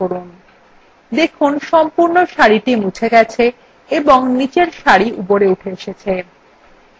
দেখুন সম্পূর্ণ সারি মুছে গেছে এবংনিচের সারি উপরে উঠে এসেছে